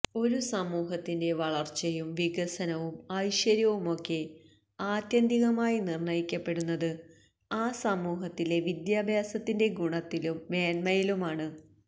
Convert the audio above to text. ഒരു സമൂഹത്തിന്റെ വളര്ച്ചയും വികസനവും ഐശ്വര്യവുമൊക്കെ ആത്യന്തികമായി നിര്ണയിക്കപ്പെടുന്നത് ആ സമൂഹത്തിലെ വിദ്യാഭ്യാസത്തിന്റെ ഗുണത്തിലും മേന്മയിലുമാണ്